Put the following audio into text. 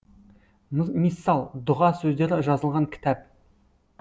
миссал дұға сөздері жазылған кітап